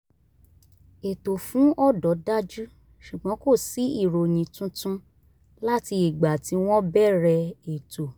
ètò fún ọ̀dọ́ dájú ṣùgbọ́n kò sí ìròyìn tuntun láti ìgbà tí wọ́n bẹ̀rẹ̀ ètò